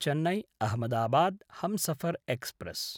Chennai-Ahmedabad Humsafar express